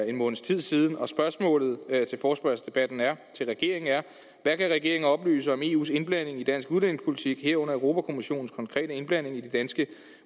en måneds tid siden og forespørgslens spørgsmål til regeringen er hvad kan regeringen oplyse om eus indblanding i dansk udlændingepolitik herunder europa kommissionens konkrete indblanding i de danske